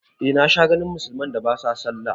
Eh na sha ganin musulman da ba sa sallah